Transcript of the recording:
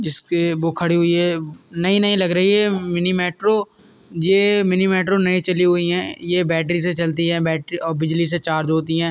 इस के वो खड़ी हुई है। नई-नई लग रही है मिनी मेट्रो । ये मिनी मेट्रो नई चली हुई है। ये बैटरी से चलती है बैटरी और बिजला से चार्ज होती है।